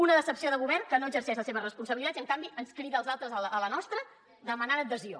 una decepció de govern que no exerceix les seves responsabilitats i en canvi ens crida als altres a la nostra demanant adhesió